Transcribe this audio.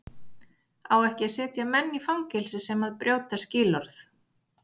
Á ekki að setja menn í fangelsi sem að brjóta skilorð?